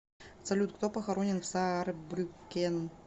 салют кто похоронен в саарбрюккен